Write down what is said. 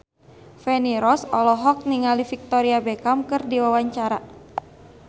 Feni Rose olohok ningali Victoria Beckham keur diwawancara